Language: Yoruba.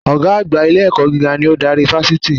Ògá àgbà ilé-ẹ̀kọ́ gíga ni ó n darí Fásití